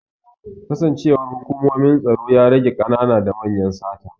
Kasancewar hukumomin tsaro ya rage ƙanana da manyan sata